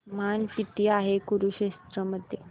तापमान किती आहे कुरुक्षेत्र मध्ये